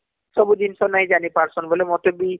ସବୁ ଜିନଷ ନାଇଁ ଜାଣିପାରୁଛନ ବୋଲି ମତେ ବି